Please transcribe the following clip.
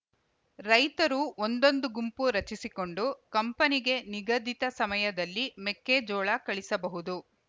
ರೈತರು ಒಂದೊಂದು ಗುಂಪು ರಚಿಸಿಕೊಂಡು ಕಂಪನಿಗೆ ನಿಗದಿತ ಸಮಯದಲ್ಲಿ ಮೆಕ್ಕೆಜೋಳ ಕಳಿಸಬಹುದು